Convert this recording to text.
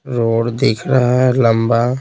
road दिख रहे हैं लंबा--